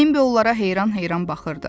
Bembi onlara heyran-heyran baxırdı.